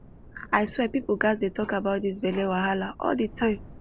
i swear people gats dey talk about this belle wahala all the time